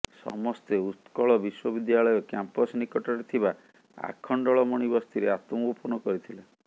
ସମସ୍ତେ ଉତ୍କଳ ବିଶ୍ବବିଦ୍ୟାଳୟ କ୍ୟାମ୍ପସ୍ ନିକଟରେ ଥିବା ଆଖଣ୍ଡଳମଣୀ ବସ୍ତିରେ ଆତ୍ମଗୋପନ କରିଥିଲେ